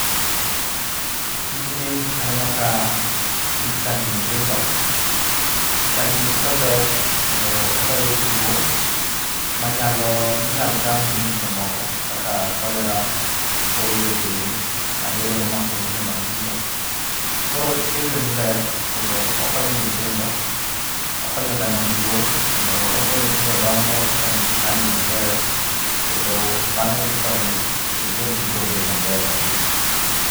Tijni aneno ka ichanjo nyithindo. Chanjo nyithindo ber, kendo ogayo two. Manyalo, minyalo gam gi nyithindo moko, kaka kolera, polio gini, maleria mamako nyithindo matindo. Koro chenjo ni ber, kendo okonyo nyithindo. Okonyo oganda maduong' kendo omiyo nyithindo dongo, ka nigi hali maber, kendo mano dhi konyogi, kendo dendgi dhi bedo maber kabisa.